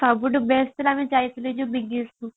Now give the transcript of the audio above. ସବୁଠୁ best ଆମେ ଯାଇଥିଲୁ ଯୋଉ big କୁ